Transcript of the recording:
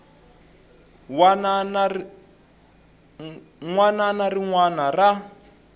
wana na rin wana ra